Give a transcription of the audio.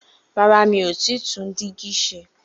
Rárá, mi ò tí tún dígí se.